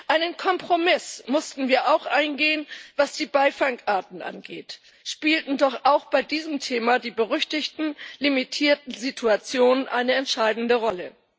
Einen Kompromiss mussten wir auch eingehen, was die Beifangarten angeht, spielten doch auch bei diesem Thema die berüchtigten limitierten Situationen eine entscheidende Rolle.